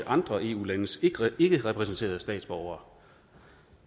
andre eu landes ikkerepræsenterede statsborgere